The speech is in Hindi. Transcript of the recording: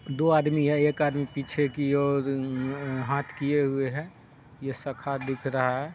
दो आदमी है। एक आदमी पीछे की ओर अम हाथ कीये हुए है। ये सखा दिख रहा है।